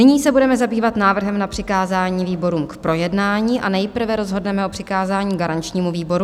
Nyní se budeme zabývat návrhem na přikázání výborům k projednání a nejprve rozhodneme o přikázání garančnímu výboru.